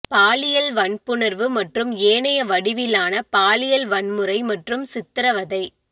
பாலியல் வன்புணர்வு மற்றும் ஏனைய வடிவிலான பாலியல் வன்முறை மற்றும் சித்திரவதை